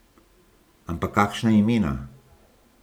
Ampak kakšna imena!